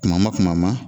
Kuma ma kuma ma